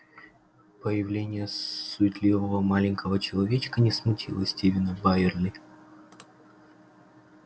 появление суетливого маленького человечка не смутило стивена байерли